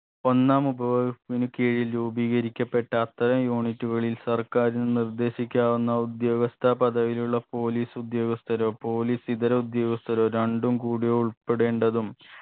ഒന്നാം ഉപപോ സ്പിന് കീഴിൽ രൂപീകരിക്കപ്പെട്ട അത്തരം unit കളിൽ സർക്കാരിന് നിർദ്ദേശിക്കാവുന്ന ഉദ്യോഗസ്ഥ പദവിയിലുള്ള police ഉദ്യോഗസ്ഥരോ police ഇതര ഉദ്യോഗസ്ഥരോ രണ്ടും കൂടിയ ഉൾപ്പെടേണ്ടതും